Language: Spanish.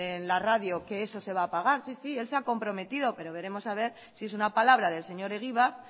en la radio que eso se va a pagar sí sí el se ha comprometido pero veremos a ver si es una palabra del señor egibar